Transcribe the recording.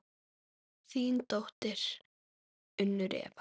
Þín dóttir, Unnur Eva.